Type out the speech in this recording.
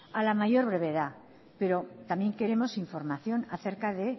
a la mayor brevedad pero también queremos información acerca de